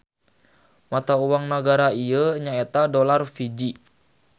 Mata uang nagara ieu nya eta Dolar Fiji.